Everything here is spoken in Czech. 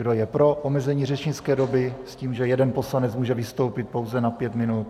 Kdo je pro omezení řečnické doby s tím, že jeden poslanec může vystoupit pouze na pět minut?